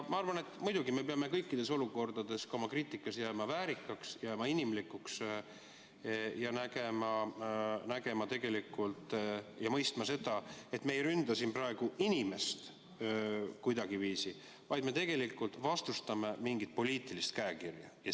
Ma arvan, et muidugi me peame kõikides olukordades jääma oma kriitikas väärikaks, jääma inimlikuks ja mõistma, et me ei ründa siin mitte inimest, vaid vastustame mingit poliitilist käekirja.